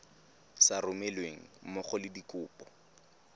sa romelweng mmogo le dikopo